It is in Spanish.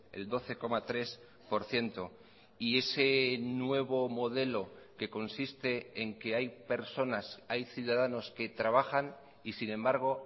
el doce coma tres por ciento y ese nuevo modelo que consiste en que hay personas hay ciudadanos que trabajan y sin embargo